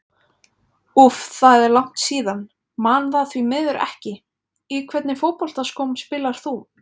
úff það er langt síðan, man það því miður ekki Í hvernig fótboltaskóm spilar þú?